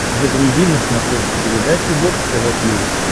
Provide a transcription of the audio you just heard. загрузи на смотрешке передачу бокс тв плюс